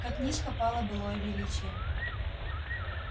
как низко пало былое величие